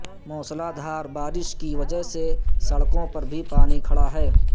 موسلادھار بارش کی وجہ سے سڑکوں پر بھی پانی کھڑا ہے